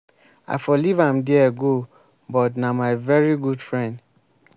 i for leave am there go but na my very good friend.